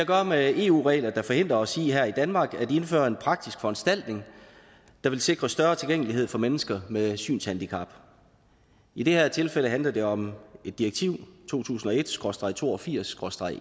gøre med eu regler der forhindrer os i her i danmark at indføre en praktisk foranstaltning der vil sikre større tilgængelighed for mennesker med synshandicap i det her tilfælde handler det om direktiv to tusind og et SKRÅSTREG to og firs SKRÅSTREG